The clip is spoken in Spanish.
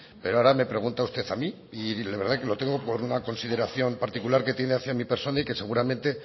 pero ahora me pregunta usted a mí y la verdad que lo tengo por una consideración particular que tiene hacia mi persona y que seguramente